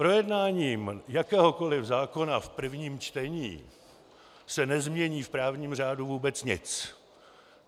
Projednáním jakéhokoli zákona v prvním čtení se nezmění v právním řádů vůbec nic.